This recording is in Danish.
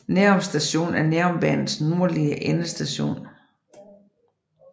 Nærum Station er Nærumbanens nordlige endestation